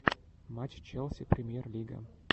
матч челси премьер лига